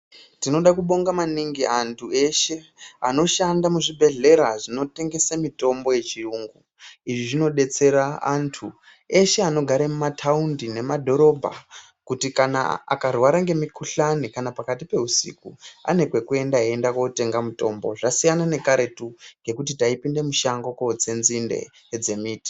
Tinoda kubonga maningi anthu eshe, anoshanda muzvibhedhlera zvinotengesa mitombo yechiyungu, izvi zvinodetsera anthu eshe anogara mumathaundi, nemadhorobha, kuti kana akarwara ngemikhuhlani, kana pakati peusiku, ane kwekuenda, eienda kootenga mutombo, zvasiyana nekaretu kwekuti taipinda mushango kootsa nzinde dzemiti.